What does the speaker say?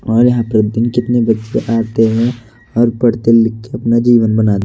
और यहां प्रति दिन कितने बच्चे आते हैं और पढ़ते लिखते अपना जीवन बना--